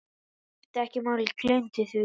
Skiptir ekki máli, gleymdu því.